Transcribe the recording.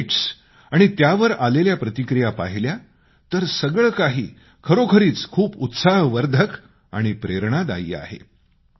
tweets आणि त्यावर आलेल्या प्रतिक्रिया पाहिल्या तर सगळं काही खरोखरीच खूप उत्साहवर्धक आहे